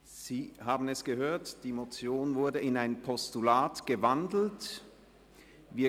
Sie haben es gehört, die Motion ist in ein Postulat gewandelt worden.